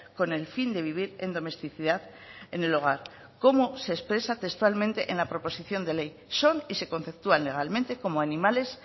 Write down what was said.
con el fin de vivir en domesticidad en el hogar cómo se expresa textualmente en la proposición de ley son y se conceptúan legalmente como animales